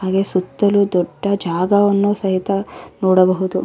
ಅದು ಸುತ್ತಲು ದೊಡ್ಡ ಜಾಗವನ್ನು ಸಹಿತ ನೋಡಬಹುದು.